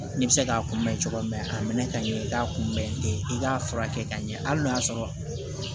Ne bɛ se k'a kunbɛn cogo min a minɛ ka ɲɛ i k'a kunbɛn ten i k'a furakɛ ka ɲɛ hali n'a y'a sɔrɔ